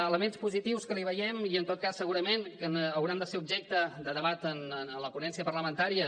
elements positius que li veiem i en tot cas segurament que hauran de ser objecte de debat en la ponència parlamentària